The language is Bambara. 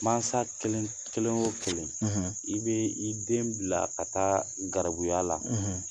Masa kelen kelen o kelen i bɛ i den bila ka taa garibuya la